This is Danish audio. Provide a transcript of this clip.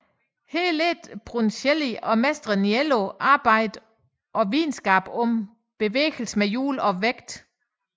Her lærte Brunelleschi at mestre niello arbejder og videnskaben om bevægelse med hjul og vægte